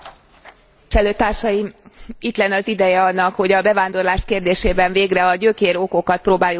Itt lenne az ideje annak, hogy a bevándorlás kérdésében végre a gyökérokokat próbáljuk megtalálni és orvosolni.